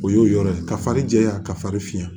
O y'o yɔrɔ ye ka fari jɛya ka fari fiyɛn